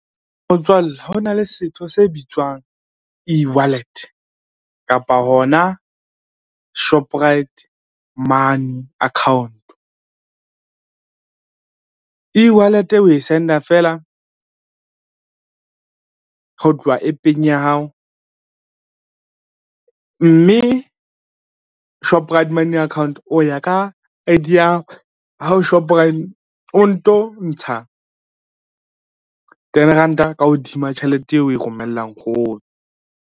Motswalle hona le setho se bitswang e-wallet kapa hona Shoprite money account. E-wallet o e send-a fela, ho tloha app-eng ya hao, mme Shoprite mobey account o ya ka I_D ya ha o Shoprite, o nto ntsha ten ranta ka hodima tjhelete eo o e romellang nkgono.